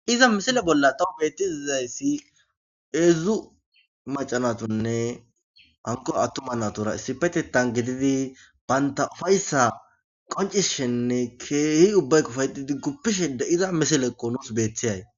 iza misile bolla doo beettizizayssi eedzdzu macanatonne hanko attuma natura issipetetan gididi baynta ufayssa qoncishenne keehi ubbaykofaydi digguppishe de iza misileekqo nuus beetthiyay